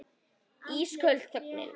Ísköld þögnin.